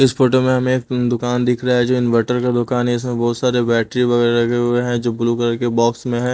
इस फोटो में हमें एक दुकान दिख रहा है जो इनवर्टर का दुकान है इसमें बहोत सारे बैटरी रखे हुए हैं जो ब्लू कलर के बॉक्स में है।